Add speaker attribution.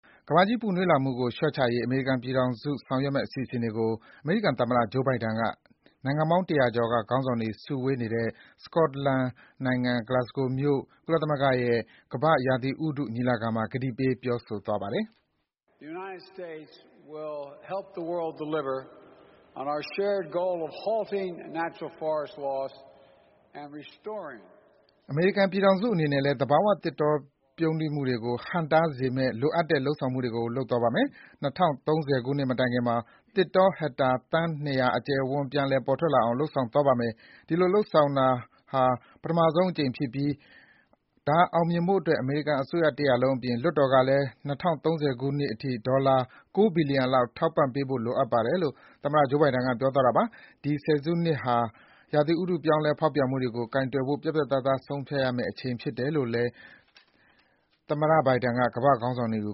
Speaker 1: ကမ္ဘာကြီးပူနွေးလာမှုကို လျှော့ချရေး အမေရိကန်ပြည်ထောင်စု ဆောင်ရွက်မယ့် အစီအစဉ်တွေကို အမေရိကန်သမ္မတ Joe Biden က နိုင်ငံပေါင်း ၁၀၀ ကျော်က ခေါင်းဆောင်တွေ စုဝေးနေတဲ့ စကော့တလန် Glasgow မြို့ ကုလသမဂ္ဂရဲ့ ကမ္ဘာ့ရာသီဥတုညီလာခံမှာ ကတိပေး ပြောဆိုသွားပါတယ်။ “အမေရိကန်ပြည်ထောင်စုအနေနဲ့လည်း သဘာဝသစ်တောပြုန်းတီးမှုကို ဟန့်တားစေမယ့် လိုအပ်တဲ့ လုပ်ဆောင်မှုတွေကို လုပ်သွားပါမယ်။ ၂၀၃၀ ခုနှစ်မတိုင်ခင်မှာ သစ်တော ဟက်တာ သန်း ၂၀၀ အကျယ်အဝန်း ပြန်လည် ပေါ်ထွက်လာအောင် လုပ်ဆောင်သွားပါမယ်။ ဒီလိုလုပ်ဆောင်တာ ဒါဟာ ပထမဆုံးအကြိမ်ဖြစ်ပြီး ဒါအောင်မြင်ဖို့အတွက် အမေရိကန် အစိုးရတရပ်လုံးအပြင် လွှတ်တော်ကလည်း ၂၀၃၀ ခုနှစ်အထိ ဒေါ်လာ ၉ ဘီလီယံလောက် ထောက်ပံ့ပေးဖို့ လိုအပ်ပါတယ်” - လို့ သမ္မတ Joe Biden က ပြောသွားတာပါ။ ဒီဆယ်စုနှစ်ဟာ ရာသီဥတု ပြောင်းလဲဖေါက်ပြန်မှုတွေကို ကိုင်တွယ်ဖို့ ပြတ်ပြတ်သားသား ဆုံးဖြတ်ရမယ့် အချိန်ဖြစ်တယ်လို့ သူက ကမ္ဘာ့ခေါင်းဆောင်တွေက